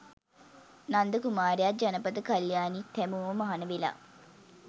නන්ද කුමාරයාත් ජනපද කළ්‍යාණිත් හැමෝම මහණ වෙලා